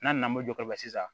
N'a nana n'o jɔsi sisan